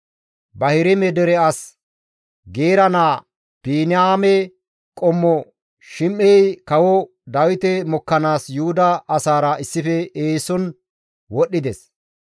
Bahirime dere as Geera naa Biniyaame qommo Shim7ey kawo Dawite mokkanaas Yuhuda asaara issife eeson wodhdhides.